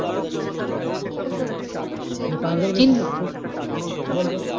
ও মানে পাঁচবারের বেশি বল বল